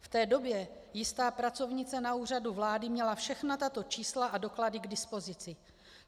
V té době jistá pracovnice na Úřadu vlády měla všechna tato čísla a doklady k dispozici.